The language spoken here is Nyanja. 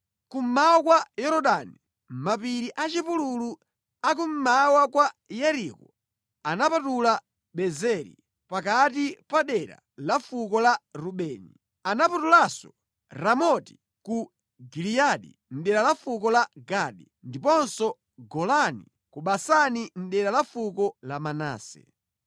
Kummawa kwa Yorodani, mʼmapiri a chipululu a kummawa kwa Yeriko, anapatula Bezeri pakati pa dera la fuko la Rubeni. Anapatulanso Ramoti ku Giliyadi mʼdera la fuko la Gadi, ndiponso Golani ku Basani mʼdera la fuko la Manase.